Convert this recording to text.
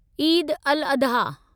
Eid al Adha